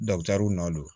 nɔ don